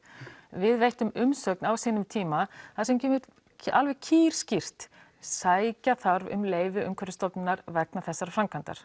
við veittum umsögn á sínum tíma þar sem kemur alveg kýrskýrt sækja þarf um leyfi Umhverfisstofnunar vegna þessarar framkvæmdar